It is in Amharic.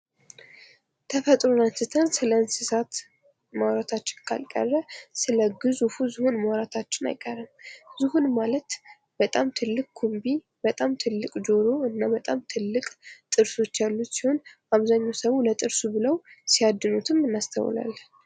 ተፈጥሮ አንስተን ስለ እንስሳት ማውራታችን ካልቀረ ስለ ግዙ ፍ ዝሆን ማውራታችን አይቀርም ዝሆን ማለት በጣም ትልቅ ኩቢ በጣም ትልቅ ጆሮ እና በጣም ትልቅ ጥርሶች ያሉት ሲሆን አብዛኛው ሰው ለጥርስ ብለው ሲያድኑትም እናስተውላለን ::